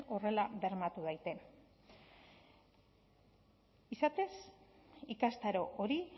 horrela bermatu daiten izatez ikastaro hori